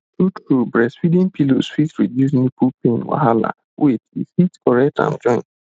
true true breastfeeding pillows fit reduce nipple pain wahala wait e fit correct am join